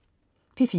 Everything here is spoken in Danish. P4: